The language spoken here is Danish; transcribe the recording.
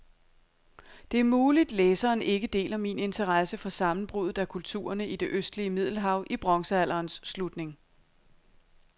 Det er muligt, læseren ikke deler min interesse for sammenbruddet af kulturerne i det østlige middelhav i bronzealderens slutning.